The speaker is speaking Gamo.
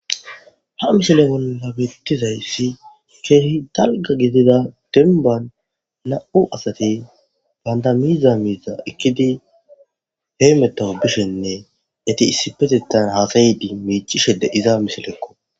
Ha misile bolna bettizayssi keehi dalga gidida denban na'u asati bandamiiza miiza ikkidi heymettao bishenne yeti issipetettan haasayidi mecishede iza misileekko.